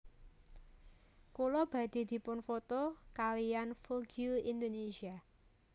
Kula badhe dipun foto kaliyan Vogue Indonesia